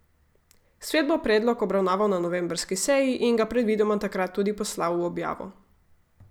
Svet bo predlog obravnaval na novembrski seji in ga predvidoma takrat tudi poslal v objavo.